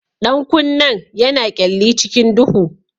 Ɗan kunnen yana kyalli cikin duhu.